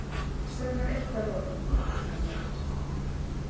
Segðu mér eitt að lokum, sagði hann lágt.